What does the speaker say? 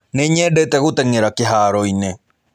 Nĩnyendete gũteng'era kĩhaaro-inĩ.